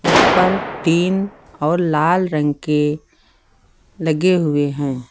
उस पर तीन और लाल रंग के लगे हुए हैं।